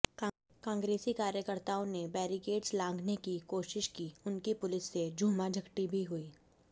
कांग्रेसी कार्यकर्ताओं ने बेरीकेट्स लांघने की कोशिश की उनकी पुलिस से झूमाझटकी भी हुई